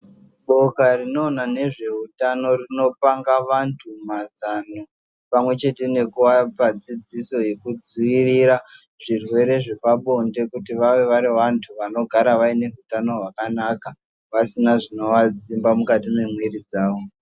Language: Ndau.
Boka rinoona ngezveutano rinopanga antu mazano pamwechete nekuapa dzidziso yekudziirira zvirwere zvepabonde kuti vave vari vantu vanogara vaine utano hwakanaka pasina zvinoadzimba mukati mwemwiri dzawo.